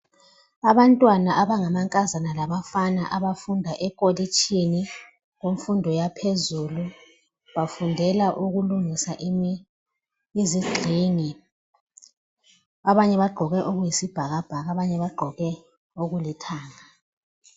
Abantwana abangamankazana labafana abafunda eKolitshini yemfundo yaphezulu. Bafundela ukulungisa izigxingi. Abanye bagqoke okuyisibhakabhaka abanye bagqoke okulithanga.